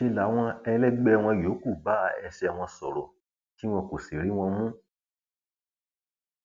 ṣe làwọn ẹlẹgbẹ wọn yòókù bá ẹsẹ wọn sọrọ tí wọn kò sì rí wọn mú